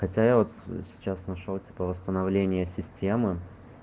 хотя я вот сейчас нашёл типа восстановление системы